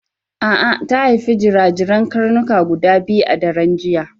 A'a ta haifi jirajiran karnuka guda biyu a daren jiya.